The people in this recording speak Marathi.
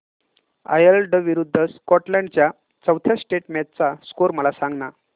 आयर्लंड विरूद्ध स्कॉटलंड च्या चौथ्या टेस्ट मॅच चा स्कोर मला सांगना